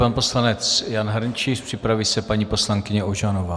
Pan poslanec Jan Hrnčíř, připraví se paní poslankyně Ožanová.